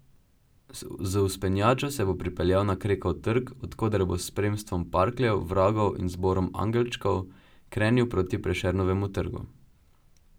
Z vzpenjačo se bo pripeljal na Krekov trg, od koder bo s spremstvom parkljev, vragov in zborom angelčkov krenil proti Prešernovemu trgu.